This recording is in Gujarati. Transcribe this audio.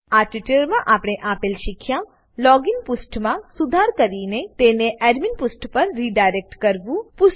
આ ટ્યુટોરીયલમાં આપણે આપેલ શીખ્યા લોગીન પુષ્ઠમાં સુધાર કરીને તેને એડમીન પુષ્ઠ પર રીડાયરેક્ટ કરવું